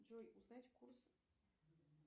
джой узнать курс